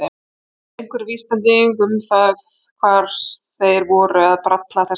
Jafnvel einhver vísbending um það hvað þeir voru að bralla þessir menn.